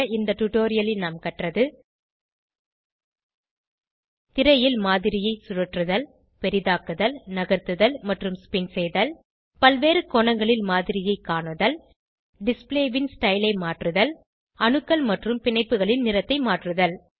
இந்த டுடோரியலில் நாம் கற்றது திரையில் மாதிரியை சுழற்றுதல் பெரிதாக்குதல் நகர்த்துதல் மற்றும் ஸ்பின் செய்தல் பல்வேறு கோணங்களில் மாதிரியை காணுதல் டிஸ்ப்ளே ன் ஸ்டைல் ஐ மாற்றுதல் அணுக்கள் மற்றும் பிணைப்புகளின் நிறத்தை மாற்றுதல்